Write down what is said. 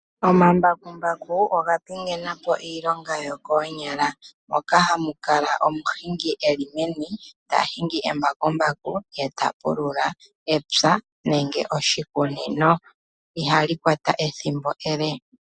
Omambakumbaku oga pingenapo iilonga yokoonyala. Ohamu kala omu hingi eli meni ta hingi embakumbaku ta pulula epya nenge oshikunino.